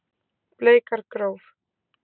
Bleikargróf